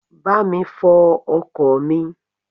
Bá mi fo ọkọ̀ mi.